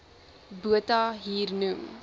botha hier noem